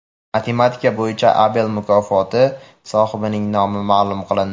Matematika bo‘yicha Abel mukofoti sohibining nomi ma’lum qilindi.